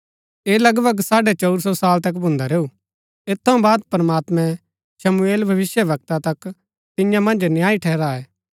ऐह लगभग साढ़ै चऊर सौ साल तक भून्दा रैऊ ऐत थऊँ बाद प्रमात्मैं शमूएल भविष्‍यवक्ता तक तियां मन्ज न्यायी ठहराये